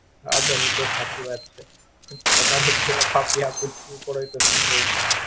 હા બેન એ તો સાચી વાત છે તમારા જેવા પાપિયા પૃથ્વી પરશું કેવું પડે.